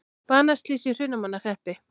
Banaslys í Hrunamannahreppi